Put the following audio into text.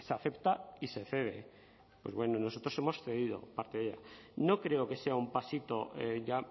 acepta y se cede pues bueno nosotros hemos cedido parte de ella no creo que sea un pasito ya